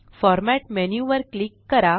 format menu वर click करा